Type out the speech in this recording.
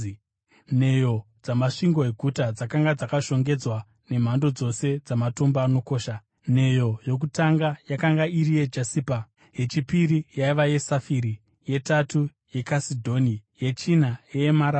Nheyo dzamasvingo eguta dzakanga dzakashongedzwa nemhando dzose dzamatombo anokosha. Nheyo yokutanga yakanga iri yejasipa, yechipiri yaiva yesafiri, yetatu yekasidhoni, yechina yeemaradhi;